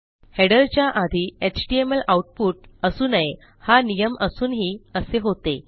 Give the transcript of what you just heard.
हेडरच्या आधी HTML output असू नये हा नियम असूनही असे होते